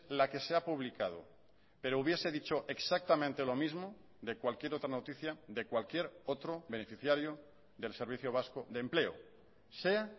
la que se ha publicado pero hubiese dicho exactamente lo mismo de cualquier otra noticia de cualquier otro beneficiario del servicio vasco de empleo sea